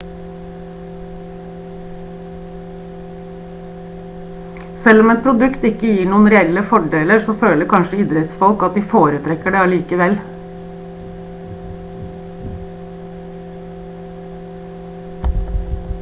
selv om et produkt ikke gir noen reelle fordeler så føler kanskje idrettsfolk at de foretrekker det allikevel